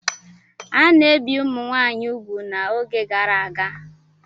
A na-ebi ụmụ nwaanyị ugwu n'oge gara aga.